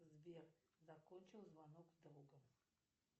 сбер закончил звонок с другом